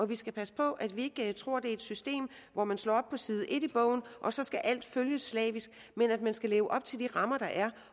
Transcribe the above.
vi skal passe på at vi ikke tror det er et system hvor man slår op på side en i bogen og så skal alt følges slavisk men at man skal leve op til de rammer der er